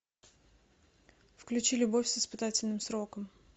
включи любовь с испытательным сроком